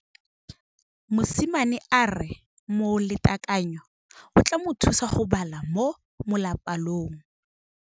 Mosimane a re molatekanyô o tla mo thusa go bala mo molapalong.